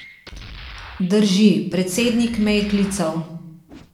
Drži, predsednik me je klical.